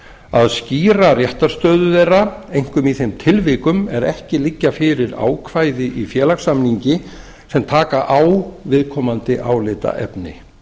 að skýra réttarstöðu þeirra einkum í þeim tilvikum er ekki liggja fyrir ákvæði í félagssamningi sem taka á viðkomandi álitaefni